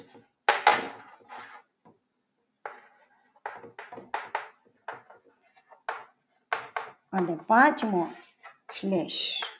અને પાંચમો સ્લેશ